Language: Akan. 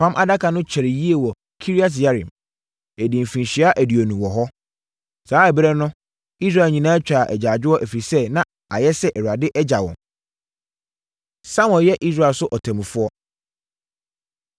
Apam Adaka no kyɛree yie wɔ Kiriat-Yearim. Ɛdii mfirinhyia aduonu wɔ hɔ. Saa ɛberɛ no Israel nyinaa twaa agyaadwoɔ, ɛfiri sɛ na ayɛ sɛ Awurade agya wɔn. Samuel Yɛ Israel So Ɔtɛmmufoɔ